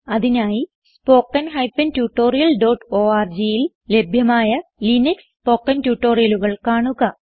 അതിനായി spoken tutorialorgൽ ലഭ്യമായ ലിനക്സ് സ്പോകെൻ ട്യൂട്ടോറിയലുകൾ കാണുക